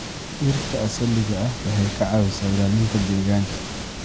Dhirta asaliga ah waxay ka caawisaa ilaalinta deegaanka.